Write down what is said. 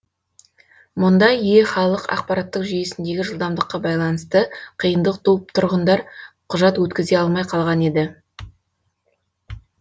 мұнда е халық ақпараттық жүйесіндегі жылдамдыққа байланысты қиындық туып тұрғындар құжат өткізе алмай қалған еді